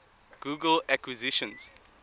google acquisitions